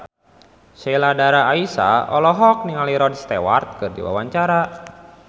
Sheila Dara Aisha olohok ningali Rod Stewart keur diwawancara